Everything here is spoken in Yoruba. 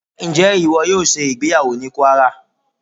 Ǹjẹ́ ìwọ yóò ṣe ìgbéyàwó ní Kwárà?